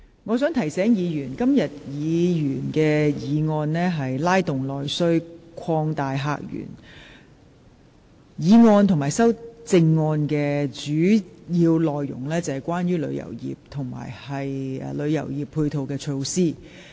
我想提醒議員，這項議員議案的議題是"拉動內需擴大客源"，議案及修正案的主要內容是關於旅遊業及其配套措施。